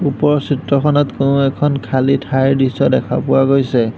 ওপৰৰ চিত্ৰখনত কোনো এখন খালি ঠাই দৃশ্য দেখা পোৱা গৈছে।